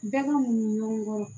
Bɛɛ kan ɲɔgɔn kɔ